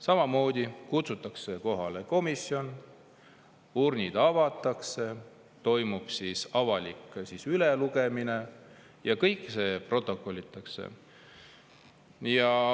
Samamoodi kutsutakse kohale komisjon, urnid avatakse, toimub avalik ülelugemine ja kõik see protokollitakse.